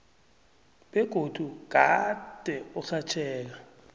begodu gade urhatjheka